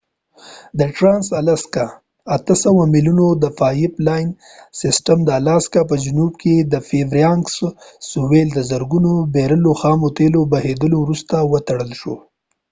د ټرانس الاسکا د ۸۰۰ میلونو د پایپ لاین سیسټم د الاسکا په جنوب کې د فییربانکس سویل د زرګونو بیرلو خامو تیلو بهیدلو وروسته وتړل شو